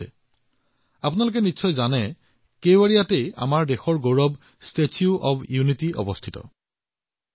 আৰু আপোনালোকে টো জানে যে এই কেৱাড়িয়া হৈছে যত পৃথিৱীৰ সৰ্বোচ্চ মূৰ্তি আমাৰ দেশৰ গৌৰৱ ষ্টেচু অব্ ইউনিটী আছে মই সেই কেৱাড়িয়াৰ বিষয়ে কথা পাতিআছো